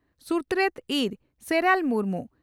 ᱥᱩᱛᱨᱮᱛ ᱤᱨ ᱥᱮᱨᱟᱞ ᱢᱩᱨᱢᱩ